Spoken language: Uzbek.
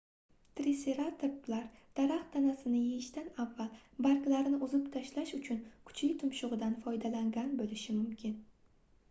triseratoplar daraxt tanasini yeyishdan avval barglarini uzib tashlash uchun kuchli tumshugʻidan foydalangan boʻlishi mumkin